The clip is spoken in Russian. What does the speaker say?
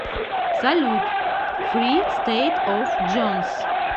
салют фри стэйт оф джонс